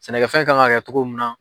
Sɛnɛkɛfɛn ka kan ka kɛ cogo min na.